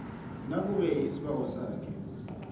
nakube isibawo sakhe